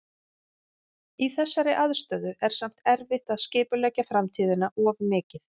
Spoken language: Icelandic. Í þessari aðstöðu er samt erfitt að skipuleggja framtíðina of mikið.